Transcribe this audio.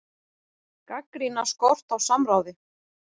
Gagnrýna skort á samráði